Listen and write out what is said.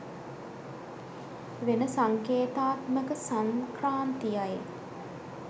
වෙන සංකේතාත්මක සංක්‍රාන්තියයි.